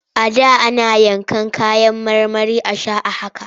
A da ana yanka kayan marmari a sha a haka.